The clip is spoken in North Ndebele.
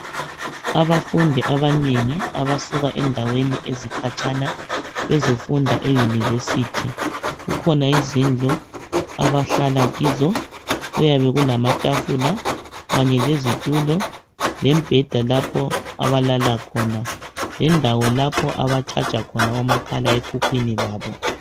Abafundi abanengi abasuka endaweni ezikhatshana bezofunda e university kukhona izindlu abahlala kizo kuyabe kulamatafula kanye lezitulo lembheda lapho abalala khona lendawo lapho aba charger khona omakhala ekhukhwini babo.